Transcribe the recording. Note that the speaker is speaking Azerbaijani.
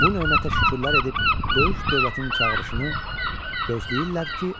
Bu nemətə şükürlər edib böyük dövlətin çağırışını gözləyirlər ki,